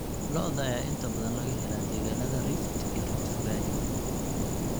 Lo'da ayaa inta badan laga helaa deegaanada Rift iyo Rift Valley.